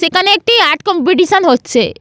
সেখানে একটি art competition হচ্ছে।